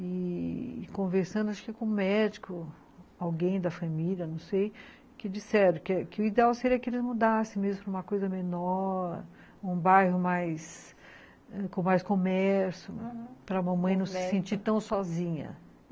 E conversando acho que com um médico, alguém da família, não sei, que disseram que o ideal seria que eles mudassem mesmo para uma coisa menor, um bairro mais... com mais comércio, aham, para mamãe não se sentir tão sozinha.